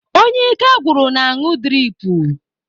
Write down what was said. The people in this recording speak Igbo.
Onye ike gwụrụ na-aṅụ driipu.